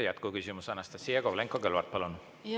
Jätkuküsimus, Anastassia Kovalenko-Kõlvart, palun!